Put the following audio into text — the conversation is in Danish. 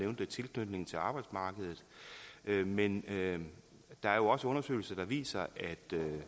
tilknytning til arbejdsmarkedet men der er jo også undersøgelser der viser at